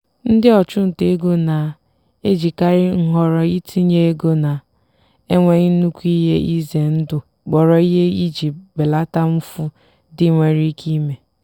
ndị ọchụnta ego na-ejikarị nhọrọ itinye ego na-enweghị nnukwu ihe ize ndụ kpọrọ ihe iji belata mfu ndị nwere ike ime.